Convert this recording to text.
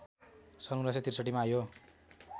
सन् १९६३ मा यो